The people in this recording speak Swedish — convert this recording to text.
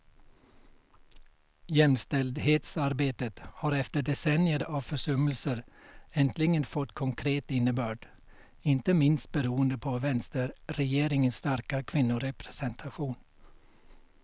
Jämställdhetsarbetet har efter decennier av försummelser äntligen fått konkret innebörd, inte minst beroende på vänsterregeringens starka kvinnorepresentation.